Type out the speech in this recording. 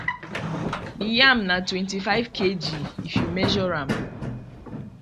the yam na twentyfive kg if you measure am